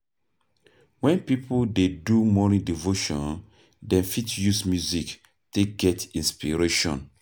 When pipo dey do morning devotion dem fit use music take get inspiration